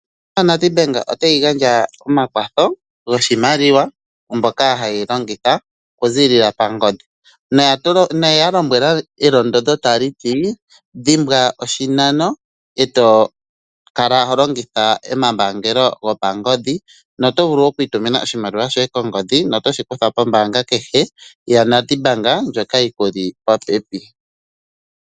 ONedBank otayi gandja omakwatho goshimaliwa kumboka haye yi longitha okuzilila pangodhi, noye ya lombwela elondodho tali ti dhimbwa oshinano e to kala ho longitha omambaangelo gopangodhi. Na oto vulu oku itumina oshimaliwa shoye kongodhi noto shi kutha pombaanga kehe ya NedBank ndjoka yi kuli popepi.